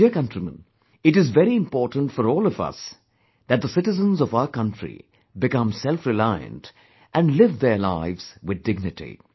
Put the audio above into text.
My dear countrymen, it is very important for all of us, that the citizens of our country become selfreliant and live their lives with dignity